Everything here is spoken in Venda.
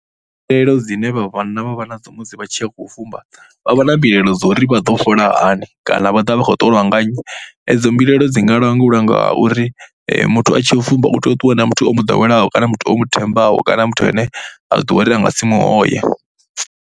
Mbilaelo dzine vhanna vha vha nadzo musi vha tshi khou fumba, vha vha na mbilaelo dza uri vha ḓo fhola hani kana vha ḓo vha vha khou ṱolwa nga nnyi. Edzo mbilaelo dzi nga langulwa nga uri muthu a tshi ya u fumba u tea u ṱuwa na muthu o mu ḓoweleaho kana muthu o mu thembaho kana muthu ane a ḓivha uri a nga si mu hoye.